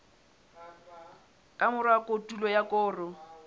ka mora kotulo ya koro